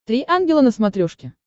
три ангела на смотрешке